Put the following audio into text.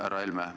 Härra Helme!